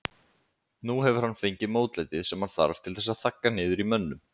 Nú hefur hann fengið mótlætið sem hann þarf til þess að þagga niður í mönnum.